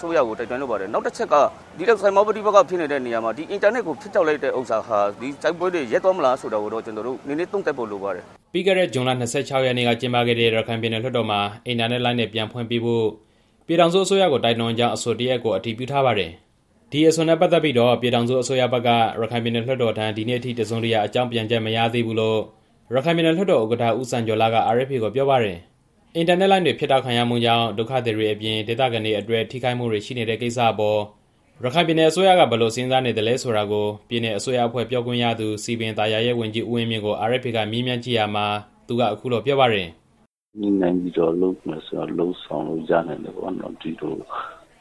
စိုးရကို တိုက်တွန်းလိုပါတယ်။ နောက်တစ်ချက်က ဒီလိုစစ်ပွဲပဋိပက္ခတွေဖြစ်နေတဲ့နေရာမှာ ဒီအင်တာနက်ကို ဖြတ်တောက်လိုက်တဲ့ကိစ္စဟာ ဒီစစ်ပွဲတွေရပ်သွားမလားဆိုတာ သုံးသပ်ဖို့လိုနေပါတယ်" ပြီးခဲ့တဲ့ ဇွန်လ ၂၆ ရက်နေ့က ကျင်းပခဲ့တဲ့ ရခိုင်ပြည်နယ်လွှတ်တော်မှာ အင်တာနက်လိုင်းတွေ ပြန်လည်ဖွင့်ပေးဖို့ ပြည်ထောင်စုအစိုးရကို တိုက်တွန်းကြောင်း အဆိုတစ်ရပ်ကို အတည်ပြုထားပါတယ်။ ဒီအဆိုနဲ့ပတ်သက်ပြီး ပြည်ထောင်စုအစိုးရဘက်က ရခိုင်ပြည်နယ်လွှတ်တော်ထံ ဒီနေ့အထိ တစ်စုံတစ်ရာ အကြောင်းပြန်ချက် မရသေးဘူးလို့ ရခိုင်ပြည်နယ်လွှတ်တော် ဥက္ကဋ္ဌ ဦးစံကျော်လှက RFA ကိုပြောပါတယ်။ အင်တာနက်လိုင်းတွေ ဖြတ်တောက်ခံရမှုကြောင့် ဒုက္ခသည်တွေအပြင် ဒေသခံတွေအတွက် ထိခိုက်မှုတွေ ရှိနေတဲ့ကိစ္စအပေါ် ရခိုင်ပြည်နယ်အစိုးရက ဘယ်လိုစဉ်းစားနေသလဲဆိုတာကို ပြည်နယ်အစိုးရပြောခွင့်ရသူ၊ စည်ပင်သာယာရေးဝန်ကြီး ဦးဝင်းမြင့်ကို RFA ကမေးမြန်းကြည့်ရာမှာ သူက အခုလိုပြောပါတယ်။ "ညှိနှိုင်းပြီးတော့လုပ်ဆောင်မယ်ဆိုရင် လုပ်ဆောင်လို့ရနိုင်တယ်ပေါ့နော်။ ဒီလို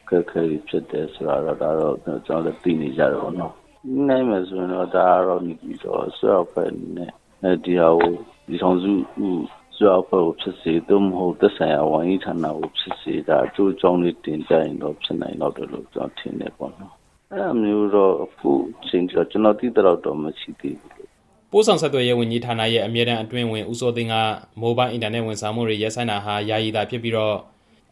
အခက်အခဲတွေဖြစ်နေ ကြတယ်ဆိုတာ ကျွန်တော်တို့လည်း သိနေကြတာပဲလေ။ ညှိနှိုင်းမယ်ဆိုလို့ရှိရင်တော့ အစိုးရအဖွဲ့အနေနဲ့ ဒီဟာကို ပြည်ထောင်စုအစိုးရအဖွဲ့ကိုဖြစ်စေ၊ သက်ဆိုင်ရာဝန်ကြီးဌာနကိုဖြစ်စေ ဒါအကျိုးအကြောင်းလေးတင်ပြရင်တော့ ဖြစ်နိုင်လောက်တယ်လို့ ကျွန်တော်ထင်တယ်။ အဲဒါမျိုးက အခုအချိန်အထိ ကျွန်တော်သိသလောက် ပြည်နယ်အစိုးရအဖွဲ့မှာ မရှိသေးဘူး" ပို့ဆောင်ဆက်သွယ်ရေးဝန်ကြီးဌာနရဲ့ အမြဲတမ်းအတွင်းဝန် ဦးစိုးသိန်းက မိုဘိုင်းအင်တာနက် ဝန်ဆောင်မှုတွေ ရပ်ဆိုင်းတာဟာ ယာယီသာဖြစ်ပြီး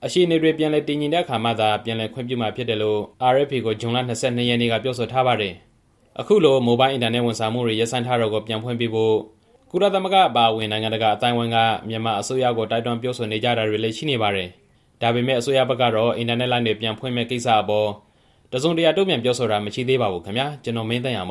အခြေအနေတွေ ပြန်လည်တည်ငြိမ်တဲ့အခါမှသာ ပြန်လည်ခွင့်ပြုမှာ ဖြစ်တယ်လို့ RFA ကို ဇွန်လ ၂၂ ရက်နေ့က ပြောဆိုထားပါတယ်။ အခုလို မိုဘိုင်းအင်တာနက်ဝန်ဆောင်မှုတွေ ရပ်ဆိုင်းတာကို ပြန်ဖွင့်ပေးဖို့ ကုလသမဂ္ဂအပါအဝင် နိုင်ငံတကာအသိုင်းအဝိုင်းက မြန်မာအစိုးရကို တိုက်တွန်းပြောဆိုနေကြတာတွေလည်း ရှိနေပါတယ်။ ဒါပေမဲ့ အစိုးရဘက်ကတော့ အင်တာနက်လိုင်းတွေ ပြန်ဖွင့်မယ့်ကိစ္စအပေါ် တစ်စုံတရာ တုံ့ပြန်ပြောဆိုတာ မရှိသေးပါဘူးခင်ဗျာ။ (RFA သတင်းထောက် ကိုမင်းသိန်းအောင်